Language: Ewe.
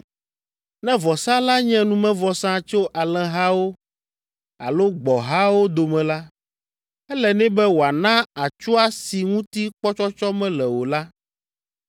“ ‘Ne vɔsa la nye numevɔsa tso alẽhawo alo gbɔ̃hawo dome la, ele nɛ be wòana atsua si ŋuti kpɔtsɔtsɔ mele o la.